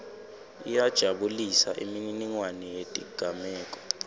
iyajabulisa imininingwane yetigameko